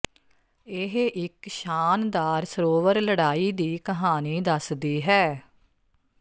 ਇਹ ਇੱਕ ਸ਼ਾਨਦਾਰ ਸਰੋਵਰ ਲੜਾਈ ਦੀ ਕਹਾਣੀ ਦੱਸਦੀ ਹੈ